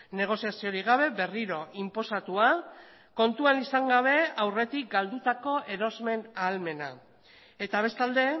negoziaziorik gabe berriro inposatua kontuan izan gabe aurretik galdutako erosmen ahalmena eta bestalde